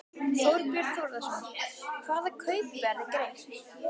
Þorbjörn Þórðarson: Hvaða kaupverð er greitt?